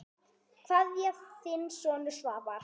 Kveðja, þinn sonur Svavar.